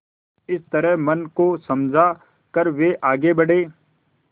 इस तरह मन को समझा कर वे आगे बढ़े